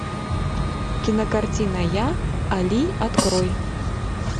кинокартина я али открой